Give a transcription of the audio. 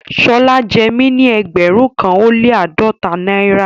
Shola jẹ́ mí ní ẹgbérùn kan o le ni aádọ́tà Naira